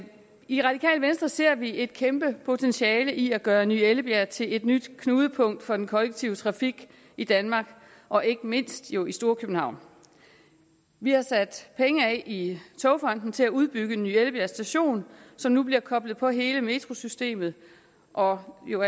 i radikale venstre ser vi et kæmpe potentiale i at gøre ny ellebjerg til et nyt knudepunkt for den kollektive trafik i danmark og ikke mindst jo i storkøbenhavn vi har sat penge af i togfonden dk til at udbygge ny ellebjerg station som nu bliver koblet på hele metrosystemet og jo